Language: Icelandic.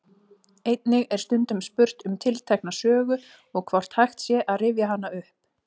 Einnig er stundum spurt um tiltekna sögu og hvort hægt sé að rifja hana upp.